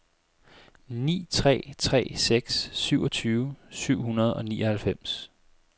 ni tre tre seks syvogtyve syv hundrede og nioghalvfems